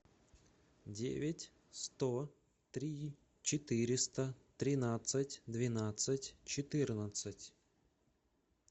девять сто три четыреста тринадцать двенадцать четырнадцать